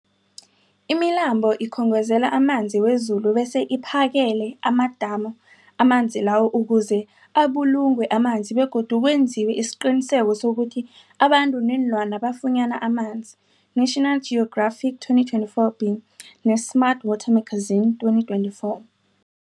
Imilambo ikhongozela amanzi wezulu bese iphakele amadamu amanzi lawo ukuze abulungwe amanzi begodu kwenziwe isiqiniseko sokuthi abantu neenlwana bafunyana amanzi, National Geographic 2024b, ne-Smart Water Magazine 2024.